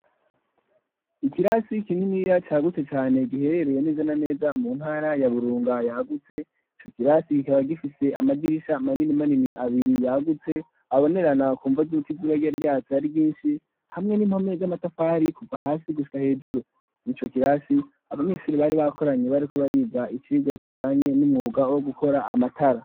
Ikirasi kininiya cagutse cane giherereye neza na neza mu ntara ya Burunga yagutse, ico kirasi gikaba gifise amadirisha manini manini abiri yagutse abonerana kumvo z'uko izuba ryari ryatse ari ryinshi hamwe n'impome z'amatafari kuva hasi gushika hejuru, ico kirasi abanyeshuri bari bakoranye bariko bariga icigwa kijanye n'umwuga wo gukora amatara.